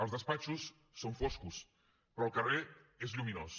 els despatxos són foscos però el carrer és lluminós